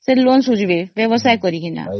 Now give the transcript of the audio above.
loan ସୁଝିବ ବ୍ୟବସାୟ କରି କିଛି